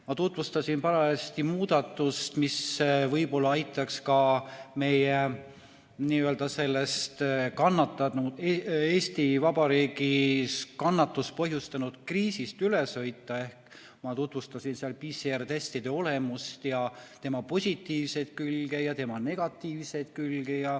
Ma tutvustasin parajasti muudatust, mis võib-olla aitaks ka meil Eesti Vabariigis sellest kannatust põhjustanud kriisist üle, ehk ma tutvustasin PCR-testide olemust, nende positiivseid külgi ja negatiivseid külgi.